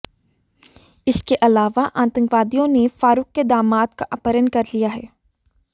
इसके अलावा आतंकवादियों ने फारुख के दामाद का अपहरण कर लिया है